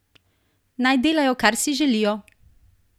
Naj delajo kar si želijo!